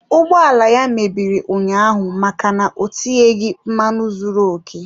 Ụgbọ ala ya mebiri ụnyaahụ maka na o tinyeghị mmanụ zuru okè.